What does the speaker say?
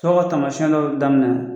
Tɔɔrɔ taamasiɲaw daminɛ na .